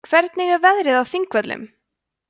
hvernig er veðrið á þingvöllum